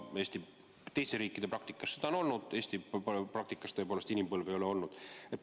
Teiste riikide praktikas seda on olnud, aga Eesti praktikas tõepoolest inimpõlve ei ole olnud.